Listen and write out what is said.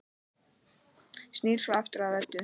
Snýr svo aftur að Eddu.